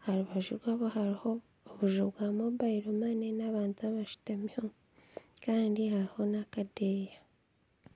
aharubaju rwabo hariho obuju bwa mobile money n'abantu abashutamiho kandi hariho n'akadeeya.